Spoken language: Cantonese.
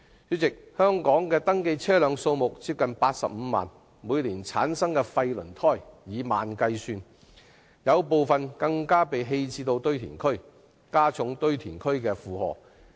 主席，香港的登記車輛數目接近85萬輛，每年產生的廢輪胎數以萬計，部分更被棄置到堆填區，加重堆填區的負荷。